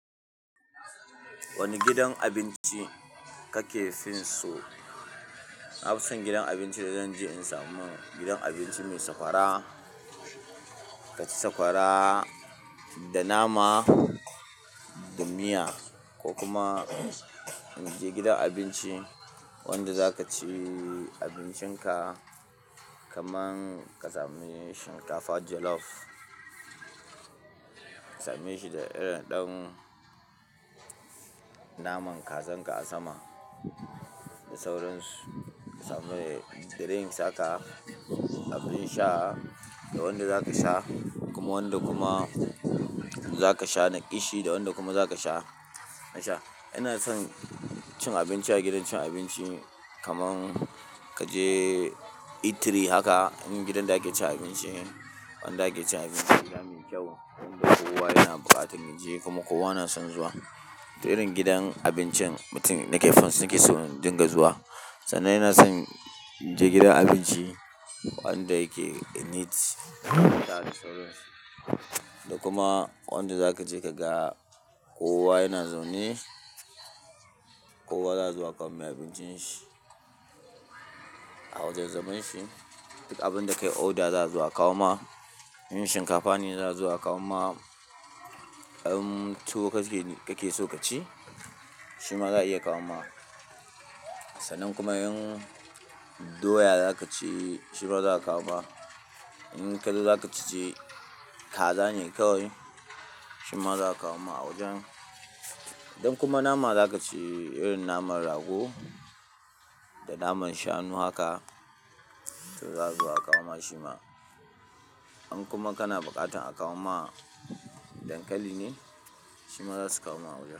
Wane gidan abinci kake fin so? Na fi son gidan abinci da zan je in samu gidan abinci mai sakwara. Ka ci sakwara da nama, da miya ko kuma mu je gidan abinci wanda za ka ci abincin ka, kaman ka sami shinkafa jollof. Ka same shi da irin ɗin naman kazan ka asama da saurayinsu. Ka samu drink haka, abin sha da wanda zaka sha, kuma wanda kuma zaka sha naishi da wanda kuma zaka sha nasha. Ina son cin abinci a gidan cin abinci kaman kaje itiri haka. In gidan da ake cin abinci, wanda ake cin abinci gida mai kyau, wanda kowa yana buƙatan je kuma kowa na son zuwa. Da irin gidan abincin mutum na ke finsu yake so dinga zuwa. Sannan ina son je gidan abinci wanda yake neat da da sauran su. Da kuma wanda zaka je kaga kowa yana zaune, kowa zasu a kawo mai abincin shi a wajan zaman shi, duka abun da kayi oda zasu a kawo ma. In shinkafa ne zasu a kawo ma, in tuwo kake so ka ci, shima za'a iya kawo ma. Sanan kuma in doya zakaci shima zasu a kawo ma. In kadai zakaci ce, kaza ne kawai shima zasu a kawo ma a wajan. Idan kuma nama za ka ci, irin naman rago da naman shanu haka, to zaa zo a kawo ma shima. In kuma kana buƙatan a kawo ma dankali ne, shima zasu kawo ma a wajan.